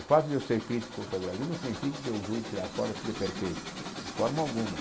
O fato de eu ser crítico Brasil não significa que eu julgue que lá fora tudo é perfeito, de forma alguma.